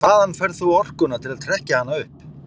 En hvaðan færð þú orkuna til að trekkja hana upp?